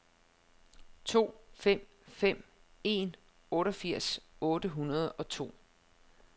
to fem fem en otteogfirs otte hundrede og to